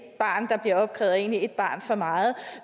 barn for meget